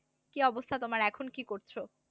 কি অবস্থা তোমার এখন কি করছো?